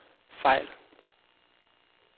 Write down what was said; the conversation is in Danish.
fejl